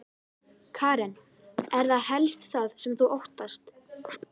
Karen: Er það helst það sem þú óttast?